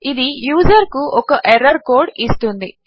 ఇది యూజరుకు ఒక ఎర్రర్ కోడ్ ఇస్తుంది